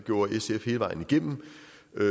er